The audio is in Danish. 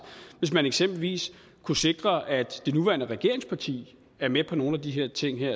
hvis man eksempelvis kunne sikre at det nuværende regeringsparti er med på nogle af de her ting